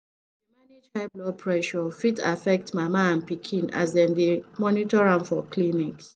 to dey manage high blood high blood pressure fit affect mama and pikin as dem dey monitor am for clinics